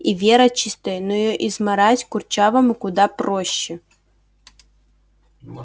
и вера чистая но её измарать курчавому куда проще